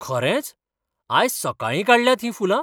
खरेंच? आज सकाळीं काडल्यांत हीं फुलां?